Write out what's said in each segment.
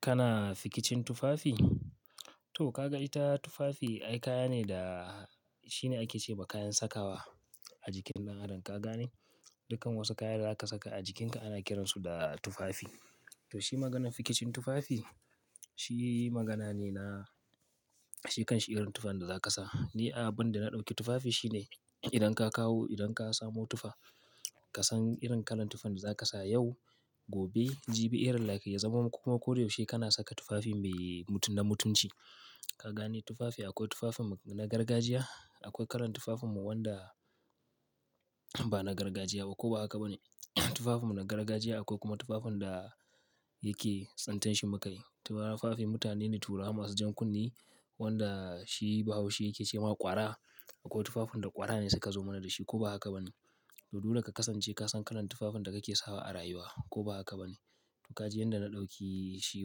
Kana fikicin tufafi? To ka ga ita tufafi, ai kaya ne da shine ake ce ma kayan sakawa a jikin ɗan adam. Ka gane? Dukkan wasu kaya da zaka saka a jikinka ana kiransu da tufafi. To shi maganan fikicin tufafi, shi magana ne na shikan shi irin tufan da zaka sa. Ni abun da na ɗauki tufafi shine idan ka kawo, idan ka samo tufa, ka san irin kalan tufan da zaka sa yau, gobe, jibi, irin like ya zama kuma ko da yaushe kana saka tufafi mai mutunna mutunci. Ka gane? Tufafi akwai tufafin na gargajiya, akwai kalan tufafinmu wanda ba na gargajiya ba ko ba haka ba ne. Tufafinmu na gargajiya akwai kuma tufafin da yake tsintar shi mu kayi. Tufafi mutane ne turawa masu jan kunne wanda shi Bahaushe yake ce ma ƙwara. Akwai tufafin da ƙwara ne suka zo mana da shi ko ba haka ba ne. To dole ka kasance ka san kalan tufafin da kake sawa a rayuwa ko ba haka ba ne. To ka ji yanda na ɗauki shi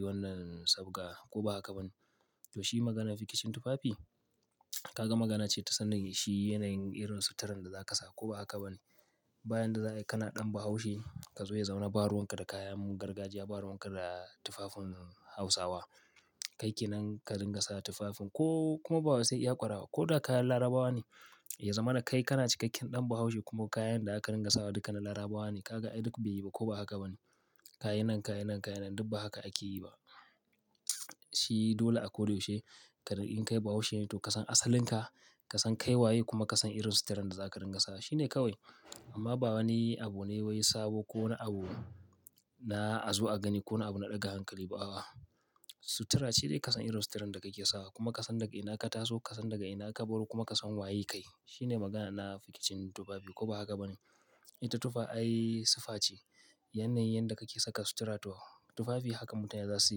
wannan sabga ko ba haka ba ne. To shi maganan fikicin tufafi. Kaga magana ce ta sanin shi yanayin irin suturan da zaka sa ko ba haka ba ne. Ba yan da za ayi kana ɗan Bahaushe ka zo ya zamana ba ruwan ka da kayan gargajiya, ba ruwan ka da tufafin Hausawa. Kai kenan ka dinga sa tufafin ko ba kuma sai iya ƙwara ba, ko da kayan larabawa ne ya zamana kai kana cikakken ɗan bahaushe kuma kayan da zaka dinga sawa duka na larabawa ne kaga ai duk be yi ba ko ba haka bane. Kayi nan kayi nan kayi nan, duk ba haka ake yi ba. Shi dole a ko da yaushe ka ringa kai Bahaushe ne to ka san asalin ka, ka san kai waye kuma ka san irin suturan da za ka ringa sawa. Shi ne kawai. Amma ba wani abu ne wai sabo ko na abu na a zo a gani kona abu na ɗaga hankali ba a'a. Sutura shine ka san irin suturan da kake sawa kuma ka san daga ina ka taso, ka san daga ina ka baro kuma ka san waye kai. Shi ne magana na fikicin tufafi ko ba haka ba ne. Ita tufa ai sifa ce. Yanayin yanda kake saka sutura to, tufafi haka mutane zasu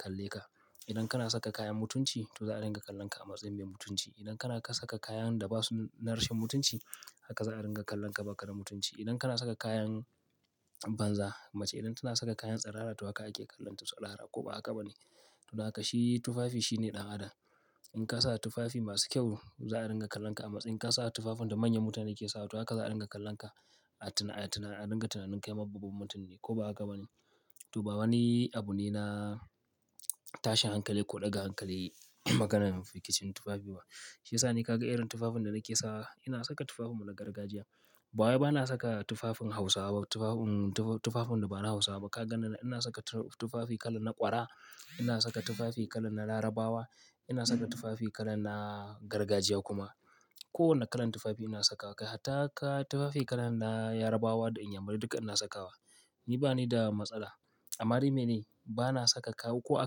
kalle ka idan kana saka kayan mutunci to za a dinga kallon ka a matsayin mai mutunci. Idan kana saka kayan da ba su na rashin mutunci haka za a dinga kallon ka baka da mutunci. Idan kana saka kayan banza, mace idan tana saka kayan tsirara toh haka ake kallon ta tsirara, ko ba haka ba ne. To haka shi tufafi shi ne ɗan adam. In ka sa tufafi masu kyau za a dinga kallon ka a matsayi. In ka sa tufafin da manyan mutane ke sawa toh haka za a dinga kallon ka a tuna, a dinga tunanin kai ma babban mutum ne ko ba haka ba ne. To ba wani abu ne na tashin hankali ko ɗaga hankali maganan fikicin tufafi ba. Shiyasa ni ka ga irin tufafin da nake sawa. Ina saka tufafinmu na gargajiya. Ba wai bana saka tufafin Hausawa, tufafin da ba na Hausawa ba. Ka ganni nan ina saka tufafi kalan na ƙwara, ina saka tufafi kalan na Larabawa, ina saka tufafi kalan na gargajiya kuma. Ko wanne kalan tufafi ina saka wa, kai hatta tufafi kalan na Yarabawa da Inyamurai duka ina saka wa. Ni ba ni da matsala. Amma dai mene? Bana saka kayan ko a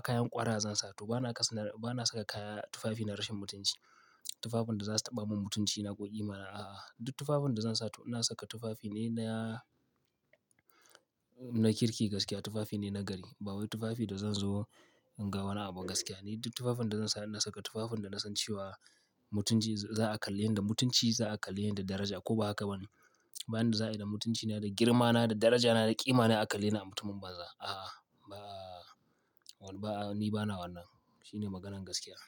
kayan ƙwara zan sa to bana-- bana saka kaya tufafi na rashin mutunci. Tufafin da za su taɓa mun mutunci na ko ƙimana a'a. Duk tufafin da zan sa to ina saka tufafi ne na, na kirki gaskiya. Tufafi ne na gari. Ba wai tufafi da zan zo in ga wani abu gaskiya ne. Duk tufafin da zan sa ina saka tufafin da na san cewa mutunci za a kalle ni da mutunci za a kalle ni da daraja ko ba haka ba ne. Ba yanda za ayi da mutunci na da girma na, da daraja na, da ƙima na a kalle ni a mutumin banza. A'a ba wani ba, ni bana wannan. Shi ne maganan gaskiya.